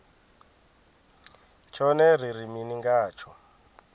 tshone ri ri mini ngatsho